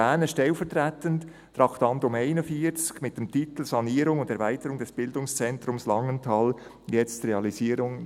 Ich erwähne stellvertretend das Traktandum 41, mit dem Titel «Sanierung und Erweiterung des Bildungszentrums Langenthal jetzt realisieren!